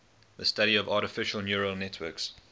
the study of artificial neural networks